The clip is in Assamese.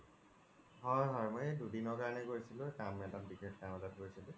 হয় হয় এই মই দুদিনৰ কাৰনে গৈছিলো কাম এটা বিসেশ কাম এটাত গৈছিলো